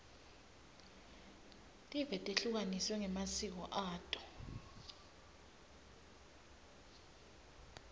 tive tehlukaniswe ngemasiko ato